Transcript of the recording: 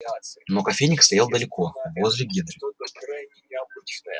но кофейник стоял далеко возле генри